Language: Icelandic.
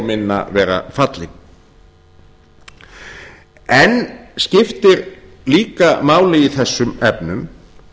minna vera fallin enn skiptir líka máli í þessum efnum